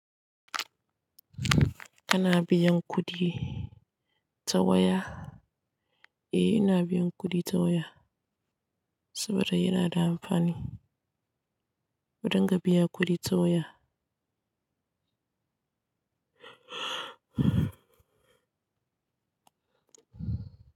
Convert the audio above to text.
Kana biyan kuɗi ta waya? Eh ina biyan kuɗi ta waya saboda yana da amfani. Kurin ga biya kuɗi ta waya.